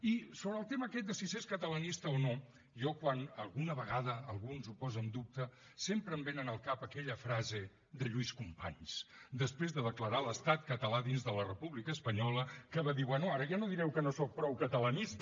i sobre el tema aquest de si s’és catalanista o no a mi quan alguna vegada algú ens ho posa en dubte sempre em ve al cap aquella frase de lluís companys després de declarar l’estat català dins de la república espanyola que va dir bé ara ja no direu que no soc prou catalanista